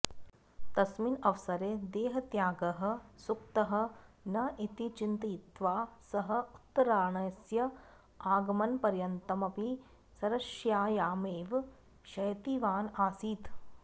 तस्मिन् अवसरे देहत्यागः सूक्तः न इति चिन्तयित्वा सः उत्तरायणस्य आगमनपर्यन्तमपि शरशय्यायामेव शयितवान् आसीत्